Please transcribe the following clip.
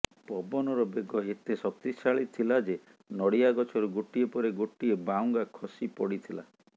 ପବନର ବେଗ ଏତେ ଶକ୍ତିଶାଳୀ ଥିଲା ଯେ ନଡିଆ ଗଛରୁ ଗୋଟିଏ ପରେ ଗୋଟିଏ ବାଉଙ୍ଗା ଖସି ପଡିଥିଲା